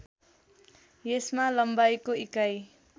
यसमा लम्बाइको इकाइ